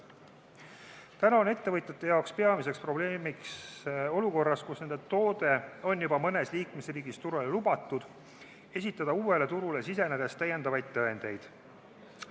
Täna on ettevõtjate jaoks peamiseks probleemiks olukorras, kus nende toode on juba mõnes liikmesriigis turule lubatud, esitada uuele turule sisenedes täiendavaid tõendeid.